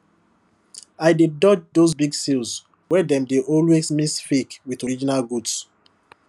i dey dodge those big sales wey dem dey always mix fake with original goods